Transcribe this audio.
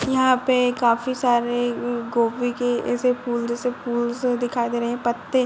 यहाँ पे काफी सारे गोभी के ऐसे फूल जैसे फूलस दिखाई दे रहे पत्ते --